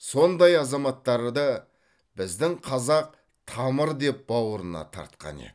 сондай азаматтарды біздің қазақ тамыр деп бауырына тартқан еді